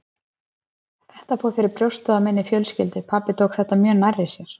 Þetta fór fyrir brjóstið á minni fjölskyldu, pabbi tók þetta mjög nærri sér.